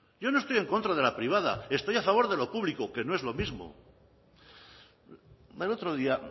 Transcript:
yo no estoy en contra de la privada estoy a favor de lo público que no es lo mismo el otro día